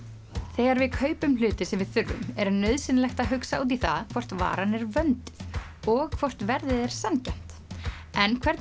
þegar við kaupum hluti sem við þurfum er nauðsynlegt að hugsa út í það hvort varan er vönduð og hvort verðið er sanngjarnt en hvernig